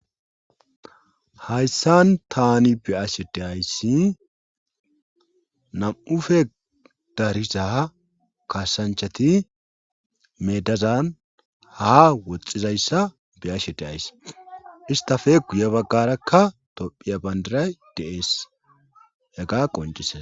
Hayssan taani be'ashe deayssi nam7ufe dariza kaasanchati meedazan ha woxxizayssa beyashe de ayss istafe guye baggarakka tophiya bandiray deees yagga qoncise.